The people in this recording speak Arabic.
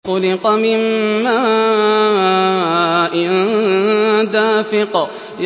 خُلِقَ مِن مَّاءٍ دَافِقٍ